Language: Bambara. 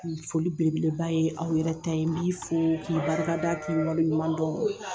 Foli belebeleba ye aw yɛrɛ ta n b'i fo k'i barika da, k'i waleɲuman dɔn.